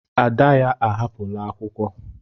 Ada ya ahapụla akwụkwọ.